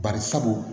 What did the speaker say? Bari sabu